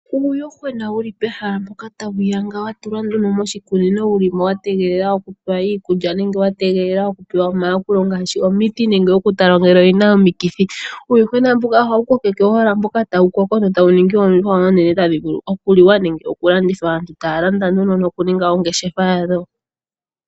Uuyuhwena wu li pehala mpoka tawu yanga wa tulwa nduno moshikunino, wu li mo wa tegelela okupewa iikulya nenge wa tegelela okupewa omayakulo ngaashi omiti, nenge okutalwa ngele oyi na omikithi. Uuyuhwena mbuka ohawu kokekwa owala mboka tawu koko e tawu ningi oondjuhwa oonene, tadhi vulu okuliwa nenge okulandithwa. Aantu taya landa nduno nokuninga oongeshefa yadho.